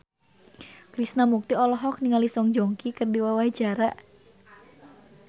Krishna Mukti olohok ningali Song Joong Ki keur diwawancara